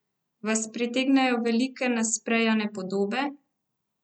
Vas pritegnejo velike nasprejane podobe?